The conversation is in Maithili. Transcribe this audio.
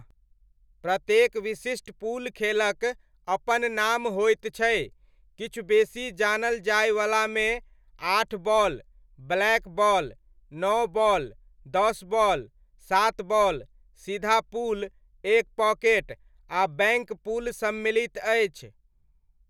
प्रत्येक विशिष्ट पूल खेलक अपन नाम होइत छै, किछु बेसी जानल जाइवलामे आठ बॉल, ब्लैकबॉल, नओ बॉल, दस बॉल, सात बॉल, सीधा पूल, एक पॉकेट, आ बैङ्क पूल सम्मिलित अछि।